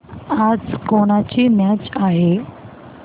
आज कोणाची मॅच आहे